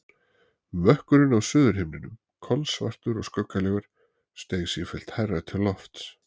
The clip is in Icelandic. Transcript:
Mökkurinn á suðurhimninum, kolsvartur og skuggalegur, steig sífellt hærra til lofts.